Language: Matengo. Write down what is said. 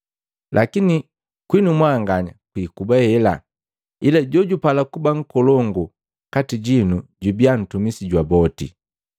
Lakini kwinu mwanganya kwiikuba hela, ila jojupala kuba nkolongu kati jinu jubia ntumisi jwa boti,